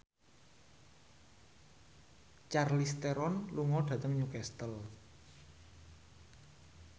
Charlize Theron lunga dhateng Newcastle